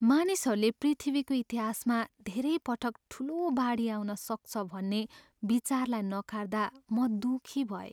मानिसहरूले पृथ्वीको इतिहासमा धेरै पटक ठुलो बाढी आउन सक्छ भन्ने विचारलाई नकार्दा म दुःखी भएँ।